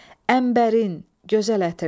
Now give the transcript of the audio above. Əmbərin, gözəl ətirli.